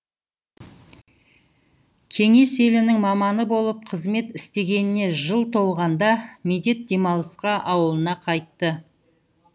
кеңес елінің маманы болып қызмет істегеніне жыл толғанда медет демалысқа ауылына қайтты